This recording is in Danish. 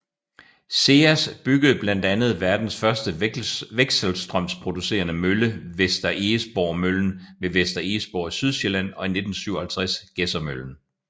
SEAS byggede blandt andet verdens første vekselstrømsproducerende mølle Vester Egesborg Møllen ved Vester Egesborg i Sydsjælland og i 1957 Gedsermøllen